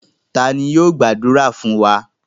Ta ni yóò gbàdúrà fún wa?